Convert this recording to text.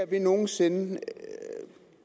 vi nogensinde ser